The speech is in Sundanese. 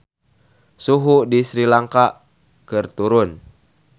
Suhu di Sri Lanka keur turun